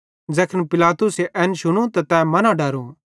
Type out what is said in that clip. ज़ैखन पिलातुसे एन शुनू त तै मन्ना डरो